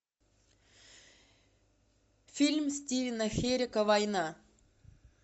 фильм стивена херека война